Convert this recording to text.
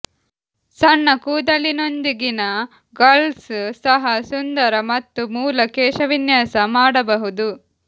ಸಣ್ಣ ಕೂದಲಿನೊಂದಿಗಿನ ಗರ್ಲ್ಸ್ ಸಹ ಸುಂದರ ಮತ್ತು ಮೂಲ ಕೇಶವಿನ್ಯಾಸ ಮಾಡಬಹುದು